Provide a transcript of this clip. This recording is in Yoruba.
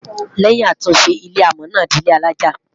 lèyìn àtúnṣe, ilé amò Na dì ilé alájá